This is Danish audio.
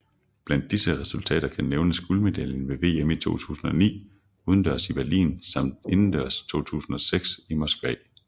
Blandt disse resultater kan nævnes guldmedaljen ved VM 2009 udendørs i Berlin samt indendørs 2006 i Moskva